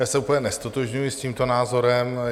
Já se úplně neztotožňuji s tímto názorem.